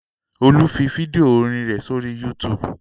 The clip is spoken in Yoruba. Olú fi fídíò orin rẹ̀ sórí YouTube.